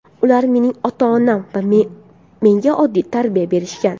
Ular mening ota-onam va menga oddiy tarbiya berishgan.